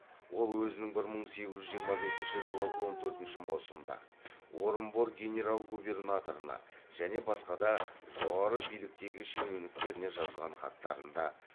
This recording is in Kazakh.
ол өзінің бір мың сегіз жүз жиырма бесінші жылы он төртінші маусымда орынбор генерал губернаторына және басқа да жоғары биліктегі шенеуніктеріне жазған хаттарында